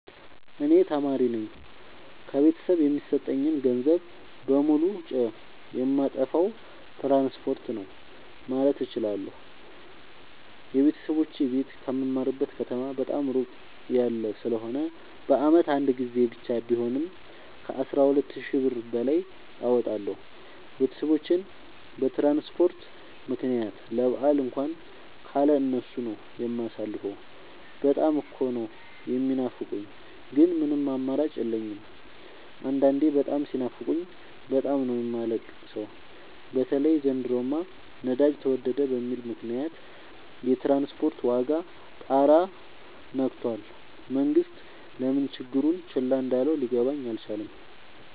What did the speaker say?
እኔ ተማሪነኝ ከቤተሰብ የሚሰጠኝን ገንዘብ በሙሉ ጨየማጠፋው ትራንስፖርት ነው። ማለት እችላለሁ። የቤተሰቦቼ ቤት ከምማርበት ከተማ በጣም እራቅ ያለ ስለሆነ በአመት አንድ ጊዜ ብቻ ቢሆንም ከአስራ ሁለት ሺ ብር በላይ አወጣለሁ። ቤተሰቦቼን በትራንስፖርት ምክንያት ለበአል እንኳን ካለ እነሱ ነው። የማሳልፈው በጣም እኮ ነው። የሚናፍቁኝ ግን ምንም አማራጭ የለኝም አንዳንዴ በጣም ሲናፍቁኝ በጣም ነው የማለቅ ሰው በተለይ ዘንድሮማ ነዳጅ ተወደደ በሚል ምክንያት የትራንስፖርት ዋጋ ጣራ የክቶል መንግስት ለምን ችግሩን ቸል እንዳለው ሊገባኝ አልቻለም።